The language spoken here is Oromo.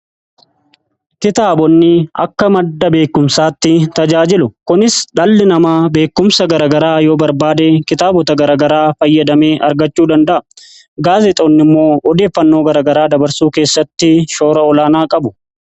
Kitaabonni akka madda beekumsaatti tajaajilu. kunis dhalli namaa beekumsa garagaraa yoo barbaade kitaabota garagaraa fayyadamee argachuu danda'a. Gaazexeessitoonni immoo odeeffannoo garagaraa dabarsuu keessatti shoora olaanaa qabu.